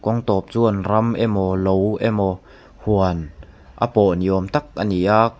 kawng tâwp chuan ram emaw lo emaw huan a pawh ni awm tak ani a.